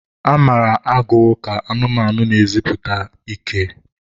A mara agụ ka anụmanụ na-eziputa ike.